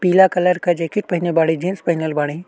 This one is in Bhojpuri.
पीला कलर का जैकेट पहने बाड़ी। जीन्स पहनल बाड़ी।